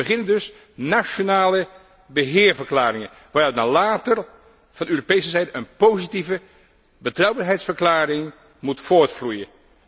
Om te beginnen dus, nationale beheerverklaringen, waaruit dan later van Europese zijde een positieve betrouwbaarheidsverklaring moet voortvloeien.